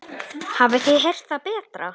Hafið þið heyrt það betra?